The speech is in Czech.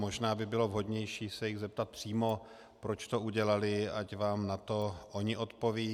Možná by bylo vhodnější se jich zeptat přímo, proč to udělali, ať vám na to oni odpovědí.